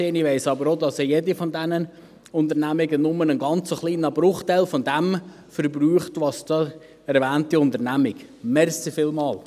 Ich weiss aber auch, dass jede von diesen Unternehmungen nur einen ganz kleinen Bruchteil dessen verbraucht, was die erwähnte Unternehmung verbraucht.